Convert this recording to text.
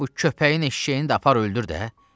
Bu köpəyin eşşəyini də apar öldür də!